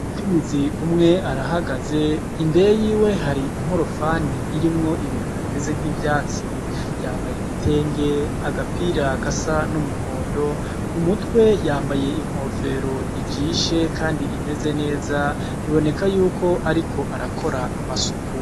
Umukenyezi umwe arahagaze, imbere yiwe hari inkorofani irimwo ibintu bimeze nk'ivyatsi. Yambaye igitenge, agapira gasa n'umuhondo, ku mutwe yambaye inkofero ijishe kandi imeze neza, biboneka yuko ariko arakora amasuku.